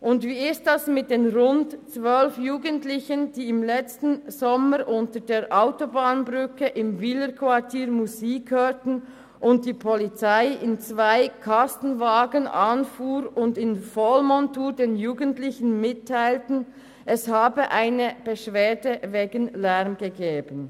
Und wie ist es mit den rund zwölf Jugendlichen, die im letzten Sommer unter der Autobahnbrücke im Wilerquartier Musik hörten, worauf die Polizei mit zwei Kastenwagen anfuhr und in Vollmontur den Jugendlichen mitteilte, es habe eine Beschwerde wegen Lärms gegeben?